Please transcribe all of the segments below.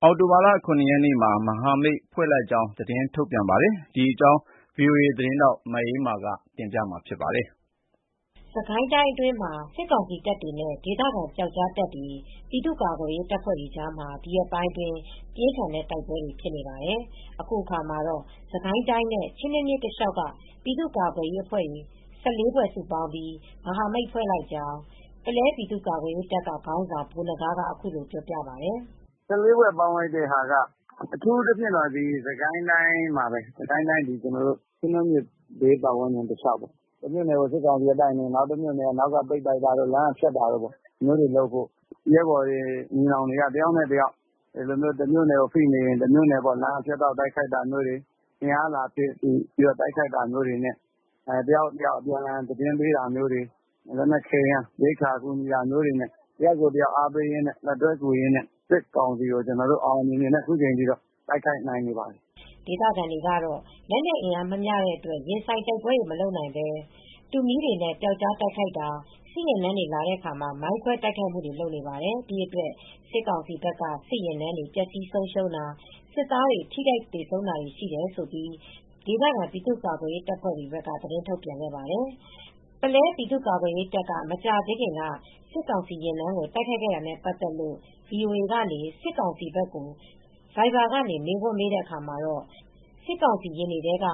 အောင်တိုဘာလ၇ရက်နေ့မှာ မဟာမိတ်ဖွဲ့လိုက်ကြောင်းထုတ်ပြန်ခဲ့ပါတယ် ။ ဒီသတင်းကို ဗွီအိုအေ သတင်းထောက်မအေးအေးမာကပြောပြပေးပါမယ်။ စစ်ကိုင်းတိုင်းအတွင်းမှ ာစစ်ကောင်စီတပ်တွေနဲ့ ဒေသခံပျောက်ကြားတပ်ဖွဲတွေ၊ ပြည်သူကာကွယ်ရေးတပ်ဖွဲ့တွေကြားမှာ ဒီရက်ပိုင်းအတွင်းပြင်းထန်တဲ့တိုက်ပွဲတွေဖြစ်နေပါတယ်။ အခုအခါမှာတော့ စစ်ကိုင်းတိုင်းနဲ့ ချင်းတွင်းမြစ်တလျောက်က ပြည်သူကာ့ကွယ်ရေးအဖွဲ့၁၄ဖွဲ စုပေါင်းပြီး မဟာမိတ်ဖွဲ့လိုက်ကြောင်း ပုလဲပြည်သူကာကွယ်ရေးတပ်က ခေါင်းဆောင်ဗိုလ်နဂါးကအခုလိုပြောပါတယ်။ "၁၄ဖွဲ ပေါင်းလိုက်တာက အထူးသဖြင့် စစ်ကိုင်းတိုင်းမှာပဲ။ စစ်ကိုင်းတိုင်းချင်းတွင်းမြစ်ဘေးပတ်ဝန်းကျင်တလျောက်ပေါ့။ တမြို့နယ်ကို စစ်ကောင်စီကတိုက်နေရင် တမြို့နယ်က နောက်ကပိတ်တိုက်တာတို့ လမ်းကဖြတ်တောက်တိုက်ခိုက်တာ။ ဒီလိုလုပ်ဖို့ ရဲဘော်ညီနောင်တွေတမြို့နယ်ကိုတိုက်နေရင် လမ်းကဖြတ်တိုက်တာမျိုးတို့ တမြို့နယ် ကိုအင်အားလာဖြည့်ကူညီတာမျိုး တယောက်နဲ့တယောက် အပြန်အလှန်သတင်းပေးတာမျိုး လက်နက်ခဲယမ်း ရိက္ခာအကူညီပေးတာမျိုးတွေနဲ့ တယောက်နဲ့တယောက်အားပေးကူညီရင်းနဲ့ စစ်ကောင်စီကို ကျနော်တို့အောင်အောင်မြင်မြင်နဲ့အခုတိုက်နိုင်နေပါတယ် " ဒေသခံတွေကတော့လက်နက်အင်အားမမျှတဲ့အတွက် ရင်ဆိုင်တိုက်ပွဲတွေမလုပ်နိုင်ပဲ တူးမီးတွေနဲ့ပျောက်ကြားတိုက်ခိုက်တာ စစ်ယာဉ်တန်းတွေလာတဲ့အခါ မိုင်းခွဲတိုက်ခိုက်မူတွေလုပ်နေပါတယ် ။ဒီအတွက်စစ်ကောင်စီဘက်က စစ်ယာဉ်တန်းတွေ ပျက်ဆီးဆုံရှုံးတာ စစ်သားတွေ ထိခိုက်သေဆုံးတာတွေ ရှိတယ်လို့ ဒေသခံပြည်သူကာကွယ်ရေးတပ်တွေကသတင်းထုတ်ပြန်ခဲ့ပါတယ်။ ပုလဲပြည်သူ့ကာကွယ်ရေးတပ်က မကြာသေးခင်က စစ်ကောင်စီယာဉ်တန်းကို တိုက်ခိုက်ခဲ့တာနဲပတ်သက်လို့ VOAက စစ်ကောင်စီဘက်ကို ဗိုက်ဗာကနေ မေးခွန်းမေးတဲ့အခါမှာတော့ စစ်ကောင်စီယဉ်တွေထဲက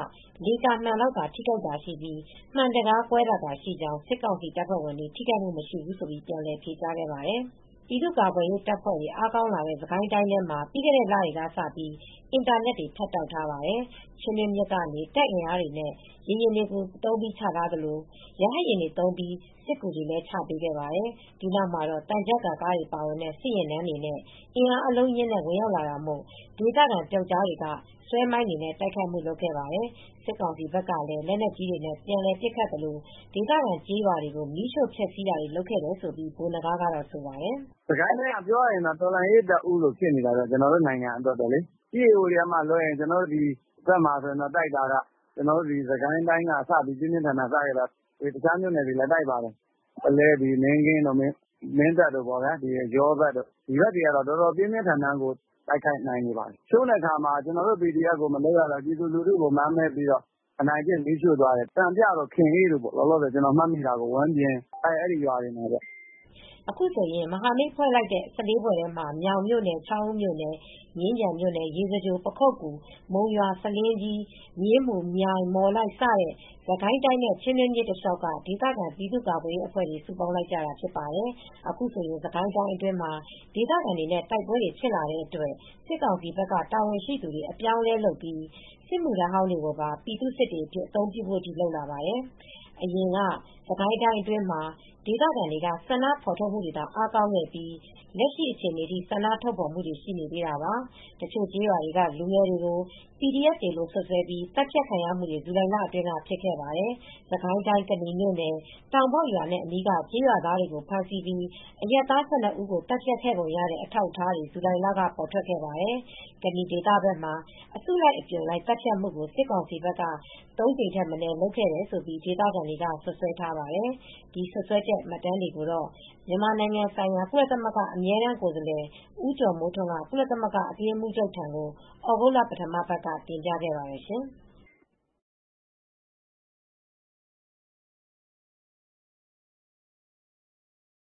လေကာမှန်လောက်ထိခိုက်တာရှိပြီး မှန်တံခါးကွဲတာသာရှိကြောင်း စစ်ကောင်စီတပ်ဖွဲ့ဝင်တွေထိခိုက်မူ့မရှိဘူးလို့ ပြန်လည် ဖြေကြားခဲ့ပါတယ် ။ ပြည်သူ့ကာကွယ်ရေးတပ်ဖွဲ့တွေ အားကောင်းလာတဲ့စစ်ကိုင်းတိုင်းထဲမှာပြီးခဲ့တဲ့လတွေကစပြီး အင်တာနက်တွေ ဖြတ်တောက်ထားပါတယ် ။ချင်းတွင်းမြစ်ကနေ တင်အင်အားတွေနဲ့ရေယာဉ်တွေသုံးပြီးချထားသလို ရဟတ်ယာဉ်တွေသုံးပြီးစစ်ကူတွေချပေးခဲ့ပါတယ်။ ဒီနောက်မှာတော့ သံချပ်ကားတွေပါဝင်တဲ့ စစ်ယာဉ်တန်းတွေနဲ့ အင်အားအလုံးအရင်းနဲ့ ဝင်ရောက်လာတာမို့ ဒေသခံတွေကပျောက်ကြားတွေကဆွဲမိုင်းတွေနဲံတိုုက်ခိုက်တာတွေလုပ်ခဲ့ပါတယ် ။စစ်ကောင်စီဘက်ကလည်း လက်နက်ကြီးတွေနဲပြန်ပစ်ခတ်သလို့ဒေသခံကျေးရွာတွေကို မီးရှို့ဖျက်ဆီးတာတွေလုပ်လာတယ်လို့လည်းဗိုလ်နဂါးကဆိုပါတယ်။ "စစ်ကိုင်းတိုင်းကပြောရရင်တော့ တော်လှန်ရေးတပ်ဦးလို့ဖြစ်နေပါတယ်။ ကျနော်တို့နိုင်ငံအတွက်ပေါ့လေ EAO တွေကလွဲရင်ပေါ့။ ကျနော်တို့ စစ်ကိုင်းတိုင်းကပြင်းပြင်းထန်ထန်စခဲ့တာ။ တခြားမြိုနယ်တွေလည်းတိုက်ပါတယ်။ ပုလဲတို့ မင်းကင်းတို့ မင်းတပ်တို့ယောနယ်တဝိုက်ပေါ့ ဒီဘက်တွေက ပြင်းပြင်းထန်ထန်တိုက်နေပါတယ်။ ကျနော်တို့PDF တွေကိုလုပ်မရတော့ ကျနော်တို့ပြည်သူတွေကို မာန်မဲပြီးအနိုင်ကျင့်ပြီး ရွာတွေမီးရှို့သွားတယ်၊ စံပြရွာတို့ ခင်အေးရွာတို့ ဝမ်းပြင်ရွာတို့အဲဒီရွာတွေမှာပေါ့ " အခုဆိုရင်မဟာမိတ်ဖွဲ့လိုက်တဲ့ ၁၄ဖွဲ့ထဲမှ ာမြောင်မြိုနယ် ချောင်းဦးမြိုနယ် မြင်းခြံမြိုနယ် ရေစကြို ပခုက္ကူ မုံရွာ ဆားလင်းကြီး မြင်းမူ မြိုင်မော်လိုက် စတဲ့ စစ်ကိုင်းတိုင်းနဲ့ချင်းတွင်းမြစ်တလျောက်က ဒေသခံပြည်သူကာကွယ်ရေးအဖွဲ့တွေစုပေါင်းလိုက်ကြတာဖြစ်ပါတယ်။ အခုဆိုရင် စစ်ကိုင်းတိုင်းအတွင်းမှာ ဒေသခံတွေနဲ့တိုက်ပွဲတွေဖြစ်လာတဲ့အတွက် စစ်ကောင်စီဘက်က တာဝန်ရှိသူတွေ အပြောင်းအလဲလုပ်ပြီး စစ်မူ့ထမ်းဟောင်းတွေကိုပါ ပြည်သူ့စစ်တွေအဖြစ်အသုံးပြုဖို့တွေအထိလုပ်လာပါတယ် ။ အရင်တုန်းကစစ်ကိုင်းတိုင်းအတွင်းမှာ ဒေသခံတွေက ဆန္ဒဖော်ထုတ်မူတွေသာ အားကောင်းခဲ့ပြီး လက်ရှိအခြေအနေထိဆန္ဒထုတ်ဖော်မူတွေလည်းရှိနေသေးတာပါ။ တချို့ကျေးရွာတွေကလူငယ်တွေကို PDF တွေလို့စွတ်စွဲပြီး သတ်ဖြတ်ခံရမူတွေဇူလိုင်လအတွင်းကဖြစ်ခဲ့ပါတယ် ။စစ်ကိုင်းတိုင်းကနီမြို့နယ်၊ တောင်ပေါက်ရွာနဲ့ အနီးက ကျေးရွာသားတွေကို ဖမ်းဆီးပြီး အရပ်သား ၁၂ ဦးကို သတ်ဖြတ်ခဲ့ပုံရတဲ့ အထောက်အထားတွေ ဇူလိုင်လက ပေါ်ထွက်ခဲ့ပါတယ်။ ကနီဒေသဘက်မှာ အစုလိုက်အပြုံလိုက် သတ်ဖြတ်မူကို စစ်ကောင်စီဘက်က ၃ ကြိမ်ထက်မနည်းလုပ်ခဲ့တယ်လို့ ဒေသခံတွေက စွပ်စွဲထားပါတယ်။ ဒီစွပ်စွဲချက် မှတ်တမ်းတွေကို မြန်မာနိုင်ငံ ဆိုင်ရာ ကုလသမဂ္ဂအမြဲတမ်းကိုယ်စားလှယ် ဦးကျော်မိုးထွန်းက ကုလသမဂ္ဂအတွင်းရေးမှူးချုပ်ထံကို သြဂုတ်လ ပထမပတ်မှာ တင်ပြခဲ့ပါတယ်ရှင်။